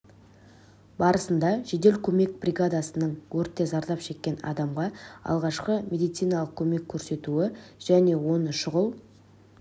барысында жедел көмек бригадасының өртте зардап шеккен адамға алғашқы медициналық көмек көрсетуі және оны шұғыл